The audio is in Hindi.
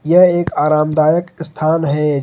यह एक आरामदायक स्थान है।